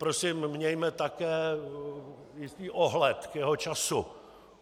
Prosím, mějme také jistý ohled k jeho času.